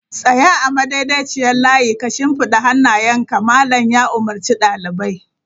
Tsaya a madaidaiciyar layi ka shimfiɗa hannayenka! Malam ya umurci dalibai!